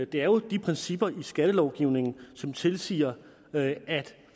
det er jo de principper i skattelovgivningen som tilsiger at